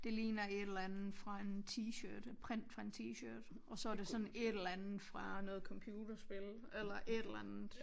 Det ligner et eller andet fra en T-shirt print fra en T-shirt og så det sådan et eller andet fra noget computerspil eller et eller andet